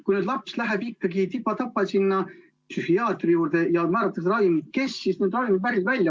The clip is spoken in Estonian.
Kui laps läheb tipa-tapa psühhiaatri juurde ja talle määratakse ravimid, kes need välja ostab?